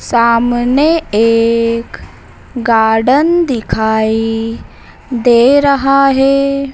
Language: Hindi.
सामने एक गार्डन दिखाई दे रहा हैं।